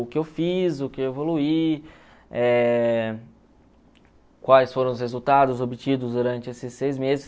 O que eu fiz, o que eu evoluí, eh quais foram os resultados obtidos durante esses seis meses.